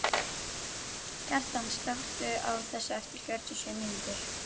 Kjartan, slökktu á þessu eftir fjörutíu og sjö mínútur.